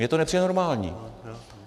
Mně to nepřijde normální.